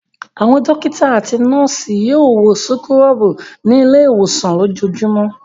Àwọn dọ́kítá àti àwọn nọ́ọ́sì yóò wọ súkúrọ́bù ní ilé-ìwòsàn lójoojúmọ́.